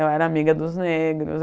Eu era amiga dos negros.